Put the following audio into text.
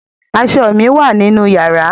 Aṣọ mi wà nínú yàrá.